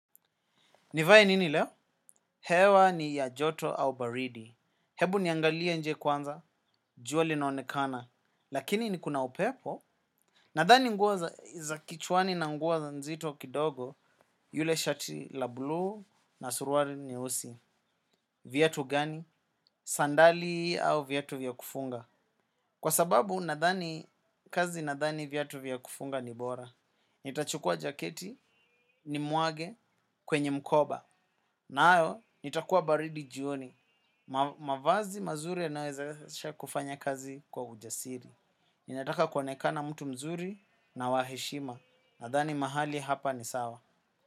Nivae nini leo? Hewa ni ya joto au baridi? Hebu niangalie nje kwanza, jua linaonekana. Lakini ni kuna upepo. Nadhani nguo za kichwani na nguo nzito kidogo, yule shati la bluu, na suruali nyeusi. Viatu gani? Sandali au viatu vya kufunga? Kwa sababu nadhani, kazi nadhani viatu vya kufunga ni bora. Nitachukua jaketi, nimwage kwenye mkoba. Nayo, nitakuwa baridi jioni. Mavazi mazuri yanawezesha kufanya kazi kwa ujasiri. Ninataka kuonekana mtu mzuri na wa heshima. Nadhani mahali hapa ni sawa.